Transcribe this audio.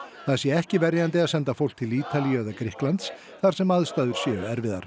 það sé ekki verjandi að senda fólk til Ítalíu eða Grikklands þar sem aðstæður séu erfiðar